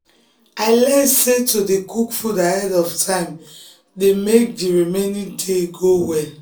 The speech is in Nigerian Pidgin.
i learn sey to dey cook food ahead of time dey make the remaining day go well